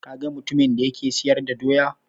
Ka ga mutumin da yake siyar da Doya?